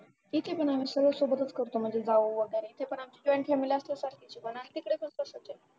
ठीक आहे पण आम्ही सगळे सोबतच करतो माझे भाऊ वगैरे ते पण आमचे join family असल्यासारखेच